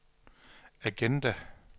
agenda